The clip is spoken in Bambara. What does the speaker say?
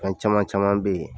An caman caman be yen